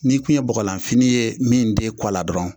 N'i tun ye bɔgɔlanfini ye min den kɔ la dɔrɔnw